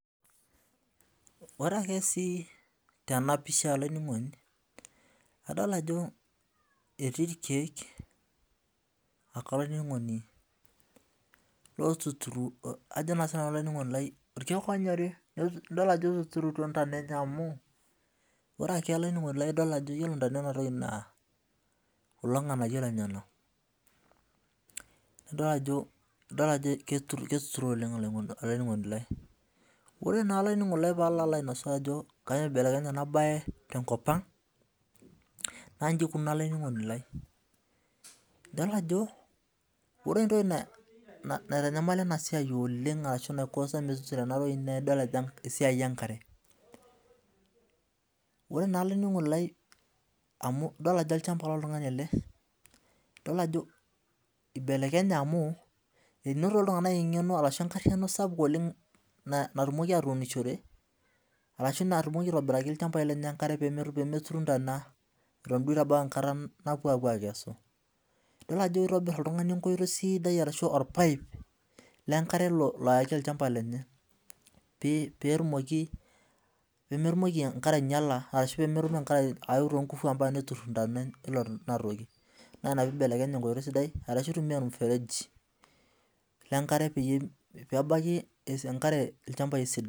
Ore ake si tenapisha olaininingoni Adolta ajo etii irkiek olaininingoni ajo sinanu irkiek onyori idol ajo etuturutio ndana emye amu idil olaininingoni lai ajo ore ntana enewueji na keturo oleng olaininingoni lai oree naa pallo ainasaa ajo ibelekenye enabae tenkop aang na nji ikununo ore entoki naikosa enasia enkare ore naa olaininingoni lai idolta ajo olchamba loltungani amu inotito ltunganak enkariano ashu engeno arashu natumoki aitabaki enkare ntana pemepuku ntana idol ajo kitobir oltungani enkare sidai ashu pmetumoki enkarw ailepea na inapibelekenye enkoitoi sidai ashu pitumia ormusereji pebaki enkare ilchambai esidai